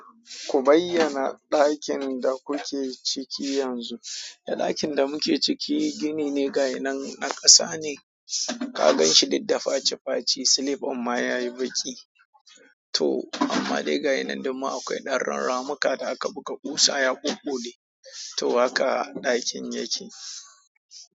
Ku bayyana ɗakin da kuke ciki yanzu. Da ɗakin da muke ciki gini ne ga yinan na ƙasa ne. Kaganshi duk dafaci-faci silip ɗin ma yayi baƙi, to amma dai gayinan don ma akwai ɗan ramuka da aka buga ƙusa ya ɓuɓɓule to haka ɗakin yake.